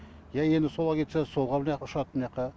ия енді солға кетсе солға мынаяққа ұшады мынаяққа